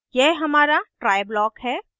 यह हमारा try block है